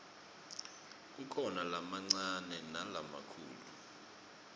kukhona lamancane nalamakhulu